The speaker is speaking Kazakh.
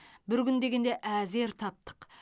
бір күн дегенде әзер таптық